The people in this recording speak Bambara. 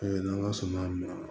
n' ala sɔnna ma